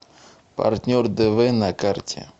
партнер дв на карте